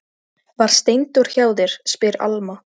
Var Steindór hjá þér, spyr Alma.